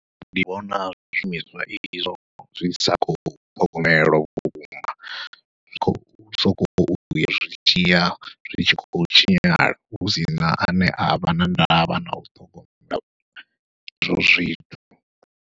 Ndi vhona zwi shumiswa izwo zwi sa khou ṱhogomelwa vhukuma, zwi khou sokou zwi tshiya zwi tshi khou tshinyala husina ane avha na ndavha nau ṱhogomela izwo zwithu.